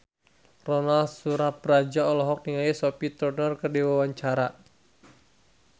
Ronal Surapradja olohok ningali Sophie Turner keur diwawancara